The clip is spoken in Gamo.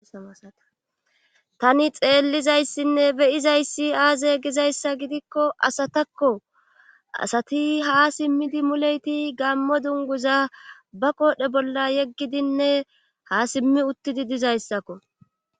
satani xeellizayssinne beyizayssi aaze gizayssa gidikko asatakko asati ha simmidi muleyti gammo dunguza ba qoodhe bolla yeggidinne ha simmi uttidi dizayssakko